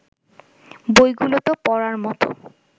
বইগুলো তো পড়ার মতো